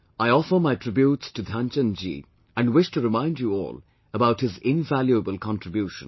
I offer my tributes to Dhyan Chand ji and wish to remind you all about his invaluable contribution